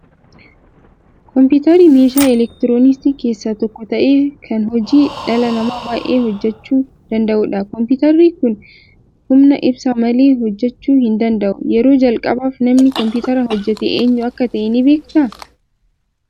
Kompiitarri meeshaa elektirooniksii keessaa tokko ta'ee, kan hojii dhala namaa baay'ee hojjechuu danda'u dha. Kompiitarri kun humna ibsaan malee hojjechuu hin danda'u. Yeroo jalqabaaf namni Kompiitara hojjete eenyu akka ta'e ni beektaa?